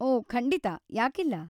ಓ ಖಂಡಿತ, ಯಾಕಿಲ್ಲ?